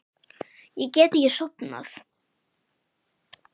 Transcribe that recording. Ég get ekki sofnað.